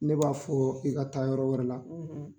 Ne b'a fɔ i ka taa yɔrɔ wɛrɛ la